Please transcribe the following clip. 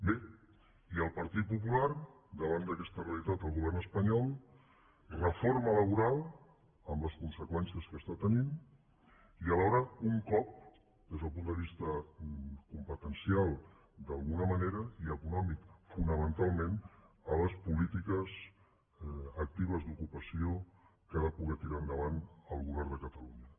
bé i el partit popular davant d’aquesta realitat al govern espanyol reforma laboral amb les conseqüències que està tenint i alhora un cop des del punt de vista competencial d’alguna manera i econòmic fonamentalment a les polítiques actives d’ocupació que ha de poder tirar endavant el govern de catalunya